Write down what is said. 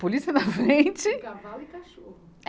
Polícia na frente. Com cavalo e cachorro. É.